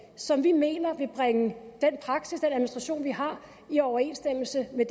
som vi mener vil bringe den praksis den administration vi har i overensstemmelse med